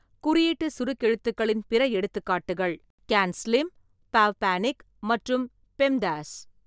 குறியீட்டுச் சுருக்கெழுத்துக்களின் பிற எடுத்துக்காட்டுகள்: க்யான் ஸ்லிம் பாவ் பாணிக் மற்றும் பெம்டாஸ்.